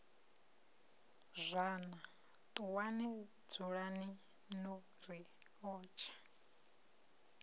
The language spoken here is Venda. zwana ṱuwani dzulani na riotshe